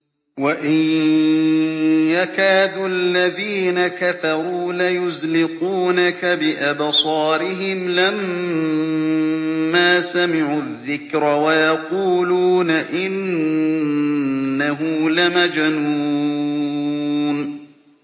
وَإِن يَكَادُ الَّذِينَ كَفَرُوا لَيُزْلِقُونَكَ بِأَبْصَارِهِمْ لَمَّا سَمِعُوا الذِّكْرَ وَيَقُولُونَ إِنَّهُ لَمَجْنُونٌ